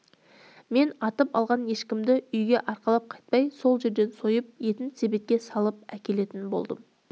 мен атып алған ешкімді үйге арқалап қайтпай сол жерден сойып етін себетке салып әкелетін болдым